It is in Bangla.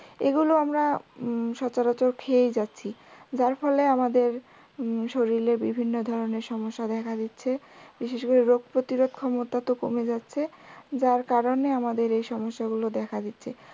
এই গুলো আমরা হম সচরাচর খেয়েই যাচ্ছি যার ফলে আমাদের উম শরীরে বিভিন্ন ধরনের সমস্যা দেখা দিচ্ছে, বিশেষ করে রোগ প্রতিরোধ ক্ষমতা তো কমে যাচ্ছে যার কারণে আমাদের এই সমস্যা গুলো দেখা দিচ্ছে